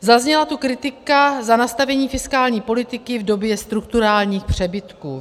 Zazněla tu kritika za nastavení fiskální politiky v době strukturálních přebytků.